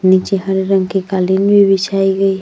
नीचे हरे रंग की कालीन भी बिछाई गई--